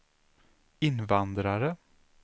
invandrare